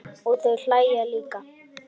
Og þau hlæja líka.